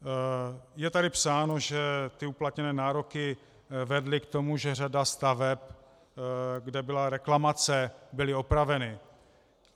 Je tady psáno, že ty uplatněné nároky vedly k tomu, že řada staveb, kde byla reklamace, byla opravena.